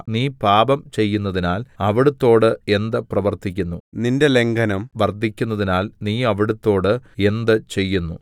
നീ പാപം ചെയ്യുന്നതിനാൽ അവിടുത്തോട് എന്ത് പ്രവർത്തിക്കുന്നു നിന്റെ ലംഘനം വർദ്ധിക്കുന്നതിനാൽ നീ അവിടുത്തോട് എന്ത് ചെയ്യുന്നു